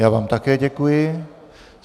Já vám také děkuji.